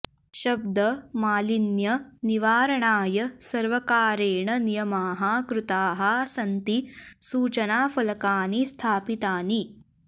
शब्द मालिन्य निवारणाय सर्वकारेण नियमाः कृताः सन्ति सूचनाफलकानि स्थापितानि